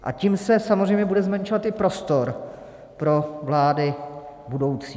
A tím se samozřejmě bude zmenšovat i prostor pro vlády budoucí.